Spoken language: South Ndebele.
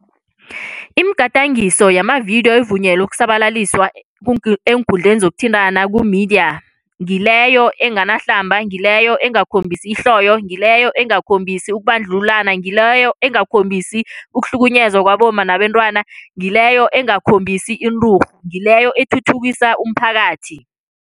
Imigadangiso yamavidiyo evunyelwe ukusabalaliswa eenkundleni zokuthintana kumidiya. Ngileyo enganahlamba, ngileyo engakhombisi ihloyo, ngileyo engakhombisani ukubandlululana, ngileyo engakhombisi ukuhlukunyezwa kwabomma nabentwana, ngileyo engakhombisani inturhu, ngileyo ethuthukisa umphakathi.